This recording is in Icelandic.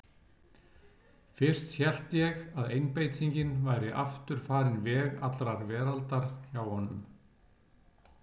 Fyrst hélt ég að einbeitingin væri aftur farin veg allrar veraldar hjá honum.